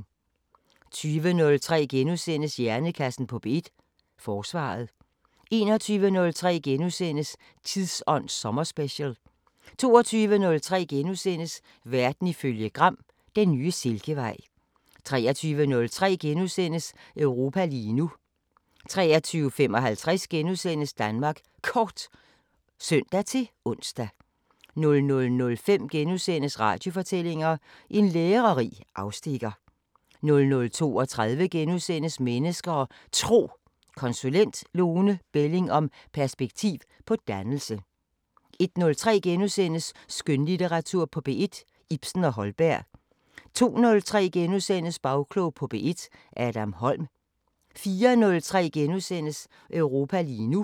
20:03: Hjernekassen på P1: Forsvaret * 21:03: Tidsånd sommerspecial * 22:03: Verden ifølge Gram: Den nye silkevej * 23:03: Europa lige nu * 23:55: Danmark Kort *(søn-ons) 00:05: Radiofortællinger: En lærerig afstikker * 00:32: Mennesker og Tro: Konsulent Lone Belling om perspektiv på dannelse * 01:03: Skønlitteratur på P1: Ibsen og Holberg * 02:03: Bagklog på P1: Adam Holm * 04:03: Europa lige nu *